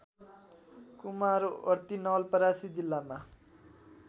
कुमारवर्ती नवलपरासी जिल्लामा